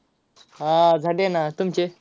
हां झाले ना, तुमचे?